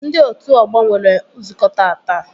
Ndị otu ọgbọ nwere nzukọ taata